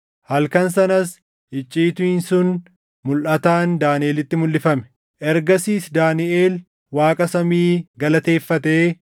Halkan sanas icciitiin sun mulʼataan Daaniʼelitti mulʼifame. Ergasiis Daaniʼel Waaqa samii galateeffatee